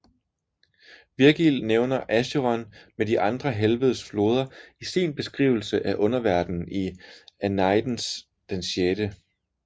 Virgil nævner Acheron med de andre helvedes floder i sin beskrivelse af underverdenen i Æneidens VI